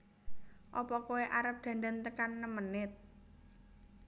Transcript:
Opo koe arep dandan tekan nem menit?